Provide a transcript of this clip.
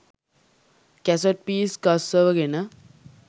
cassette piece ගස්සවගෙන